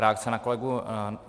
Reakce na kolegu